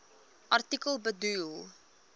artikel bedoel